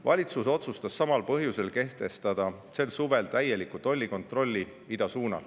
Valitsus otsustas samal põhjusel kehtestada sel suvel täieliku tollikontrolli idasuunal.